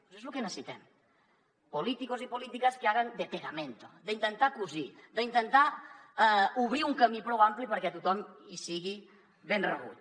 això és lo que necessitem políticos y políticas que hagan de pegamento d’intentar cosir d’intentar d’obrir un camí prou ampli perquè tothom hi sigui ben rebut